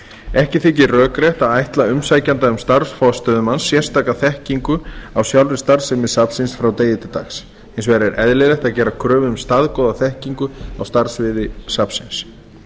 ekki þykir rökrétt að ætla umsækjanda um starf forstöðumanns sérstaka þekkingu á sjálfri starfsemi safnsins frá degi til dags hins vegar er eðlilegt að gera kröfur um staðgóða þekkingu á starfssviði safnsins